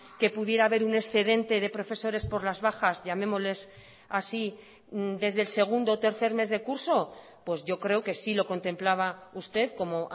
que pudiera haber un excedente de profesores por las bajas llamémosles así desde el segundo o tercer mes de curso pues yo creo que sí lo contemplaba usted como